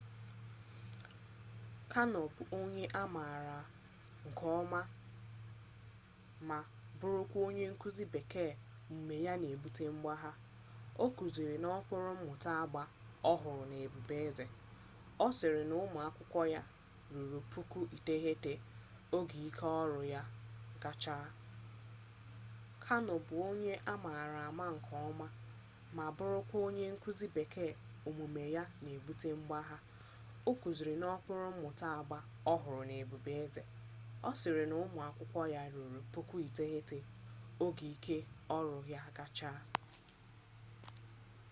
karno bụ onye a mara nke ọma ma bụrụkwa onye nkuzi bekee omume ya na-ebute mgbagha ọ kuziri n'okpuru mmụta agba ọhụrụ na ebube eze ọ sịrị na ụmụakwụkwọ ya ruru 9,000 oge ike ọrụ ya kacha